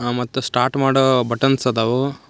ಮತ್ತು ಸ್ಟಾರ್ಟ್ ಮಾಡೋ ಬಟನ್ಸ್ ಅದವು.